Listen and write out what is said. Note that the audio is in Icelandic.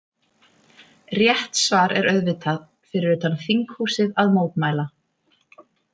Rétt svar er auðvitað: Fyrir utan þinghúsið að mótmæla.